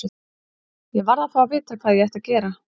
Ég varð að fá að vita hvað ég ætti að gera.